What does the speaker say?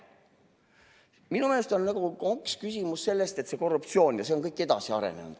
Minu meelest on küsimus hoopis selles, et korruptsioon ja see kõik on edasi arenenud.